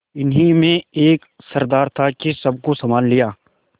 इन्हीं में एक सरदार था कि सबको सँभाल लिया